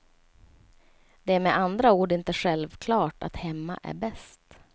Det är med andra ord inte själklart att hemma är bäst.